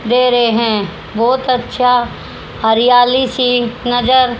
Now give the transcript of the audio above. दे रहे हैं बहोत अच्छा हरियाली सी नजर--